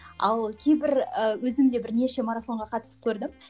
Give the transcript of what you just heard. ал кейбір ы өзім де бірнеше марафонға қатысып көрдім